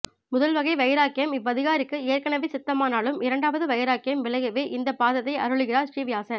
முதல் வகை வைராக்யம் இவ்வதிகாரிக்கு ஏற்கனவே சித்தமானாலும் இரண்டாவது வைராக்யம் விளையவே இந்த பாதத்தை அருளுகிறார் ஸ்ரீ வியாசர்